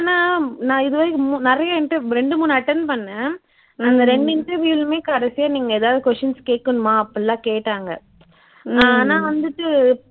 என்ன நான் இதுவரைக்கும் நிறைய interview ரெண்டு மூனு attend பண்ணேன் அந்த ரெண்டு interview லயுமே கடைசியா நீங்க எதாவது questions கேக்கணுமா அப்படியெல்லாம் கேட்டாங்க ஆனா வந்துட்டு